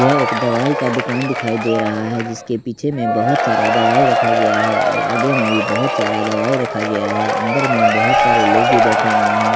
यह एक दवाई का दुकान दिखाई दे रहा है जिसके पीछे में बहुत सारा दवाई रखा गया है और आगे में भी बहुत सारा दवाई रखा गया है अंदर में बहुत सारे लोग भी बैठे हुए हैं।